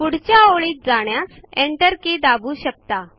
पुढच्या ओळीत जाण्यासाठी enter के दाबू शकता